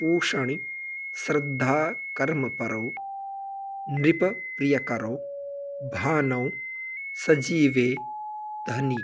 पूषणि श्रद्धाकर्मपरो नृपप्रियकरो भानौ सजीवे धनी